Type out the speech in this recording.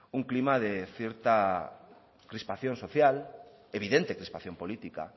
un clima de cierta crispación social evidente crispación política